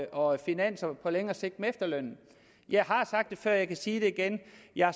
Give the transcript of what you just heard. og finanser på længere sigt med efterlønnen jeg har sagt det før og jeg kan sige det igen